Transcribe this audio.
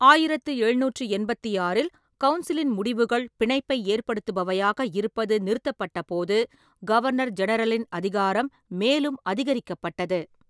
ஆயிரத்து எழுநூற்றி எண்பத்தி ஆறில், கவுன்சிலின் முடிவுகள் பிணைப்பை ஏற்படுத்துபவையாக இருப்பது நிறுத்தப்பட்டபோது, கவர்னர் ஜெனரலின் அதிகாரம் மேலும் அதிகரிக்கப்பட்டது.